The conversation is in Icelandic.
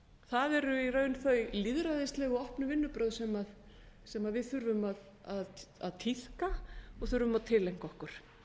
það eru í raun þau lýðræðislegu og opnu vinnubrögð sem við þurfum að tíðka og þurfum að tileinka okkur